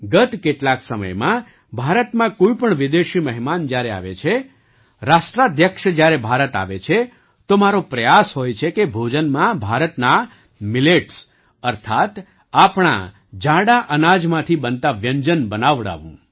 ગત કેટલાક સમયમાં ભારતમાં કોઈ પણ વિદેશી મહેમાન જ્યારે આવે છેરાષ્ટ્રાધ્યક્ષ જ્યારે ભારત આવે છે તો મારો પ્રયાસ હોય છેકે ભોજનમાં ભારતના મિલેટ્સ અર્થાત્ આપણા જાડાં અનાજમાંથી બનતાં વ્યંજન બનાવડાવું